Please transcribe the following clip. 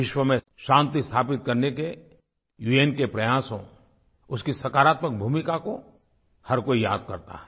विश्व में शान्ति स्थापित करने के उन के प्रयासों उसकी सकारात्मक भूमिका को हर कोई याद करता है